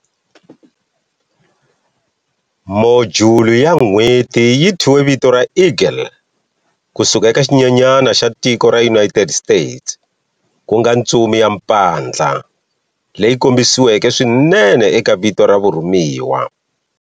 Modyuli ya N'weti yi thyiwe vito ra"Eagle" ku suka eka xinyenyana xa tiko ra United States, ku nga ntsumi ya mpandla, leyi kombisiweke swinene eka vito ra vurhumiwa.